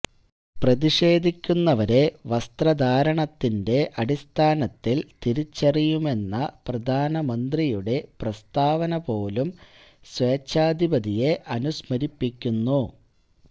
പ്രതിഷേധിക്കുന്നവരെ വസ്ത്രധാരണത്തിന്റെ അടിസ്ഥാനത്തില് തിരിച്ചറിയുമെന്ന പ്രധാനമന്ത്രിയുടെ പ്രസ്താവന പോലും സേച്ഛാധിപതിയെ അനുസ്മരിപ്പിക്കുന്നു